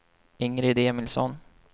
Ingrid Emilsson